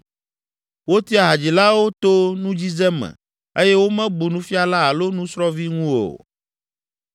Wotia hadzilawo to nudzidze me eye womebu nufiala alo nusrɔ̃vi ŋu o.